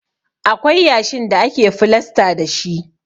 Akwai yashin da ake filasta dashi.